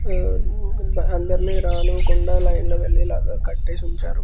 ఉమ్మ్ అందరిని రానీవ్వకుండా లైన్ లో వెళ్ళే లాగా కట్టేసి ఉంచారు.